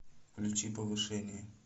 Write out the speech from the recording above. включи повышение